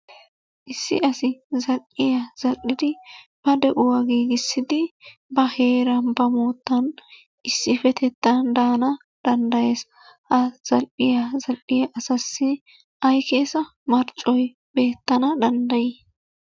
Issi asi zal"iya zal"idi ba de'uwa giigissidi ba heeran, ba moottan issippetettan daanawu danddayees. Ha zal"iya zal"iya asaassi ay keesa marccoy beettana danddayi?